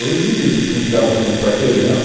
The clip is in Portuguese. Hoje você tem que dar a volta no quarteirão